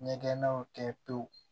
Ɲɛgɛnnaw kɛ pewu